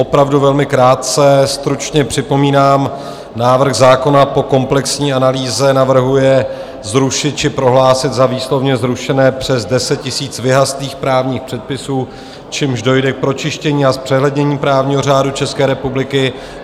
Opravdu velmi krátce, stručně připomínám, návrh zákona po komplexní analýze navrhuje zrušit či prohlásit za výslovně zrušené přes 10 000 vyhaslých právních předpisů, čímž dojde k pročištění a zpřehlednění právního řádu České republiky.